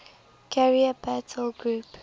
carrier battle group